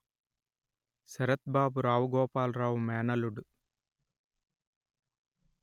శరత్ బాబు రావు గోపాలరావు మేనల్లుడు